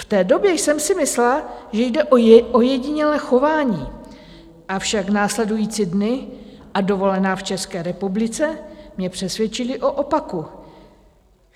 V té době jsem si myslela, že jde o ojedinělé chování, avšak následující dny a dovolená v České republice mě přesvědčily o opaku.